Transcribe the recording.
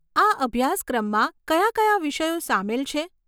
આ અભ્યાસક્રમમાં કયા કયા વિષયો સામેલ છે?